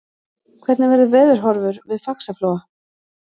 hvernig verður veðurhorfur við faxaflóa